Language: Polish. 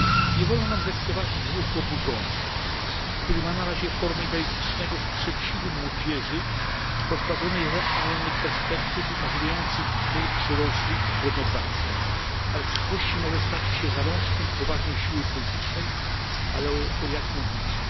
Nie wolno nam zlekceważyć ruchu oburzonych, który ma na razie formę idealistycznego sprzeciwu młodzieży pozbawionej realnych perspektyw umożliwiających twórczy rozwój i godną pracę, ale w przyszłości może stać się zalążkiem poważnej siły politycznej, tylko o jakim obliczu?